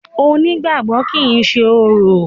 Onígbàgbọ́ kìí ṣe orò.